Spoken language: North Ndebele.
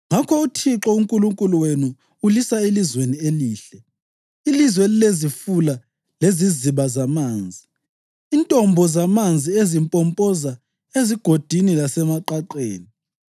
Ngakho uThixo uNkulunkulu wenu ulisa elizweni elihle, ilizwe elilezifula leziziba zamanzi, intombo zamanzi ezimpompoza ezigodini lasemaqaqeni;